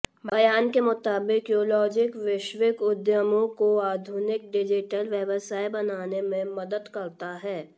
बयान के मुताबिक क्यूलॉजिक वैश्विक उद्यमों को आधुनिक डिजिटल व्यवसाय बनाने में मदद करता है